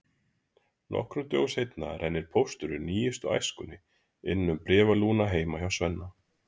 Nokkrum dögum seinna rennir pósturinn nýjustu Æskunni inn um bréfalúguna heima hjá Svenna.